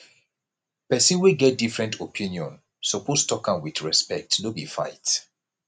pesin wey get different opinion suppose tok am wit respect no be fight